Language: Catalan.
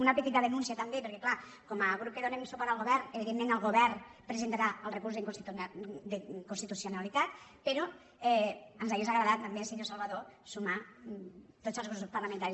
una petita denúncia també perquè clar com a grup que donem suport al govern evidentment el govern presentarà el recurs d’inconstitucionalitat però ens hauria agradat també senyor salvadó sumar tots els grups parlamentaris